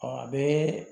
Ɔ a bɛ